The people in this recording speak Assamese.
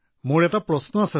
ছাৰ মোৰ এটা প্ৰশ্ন আছে